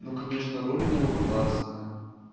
ну конечно роль у него классная